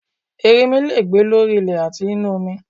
Ẹrinmi le è gbé lórí ilẹ̀ àti nínu omi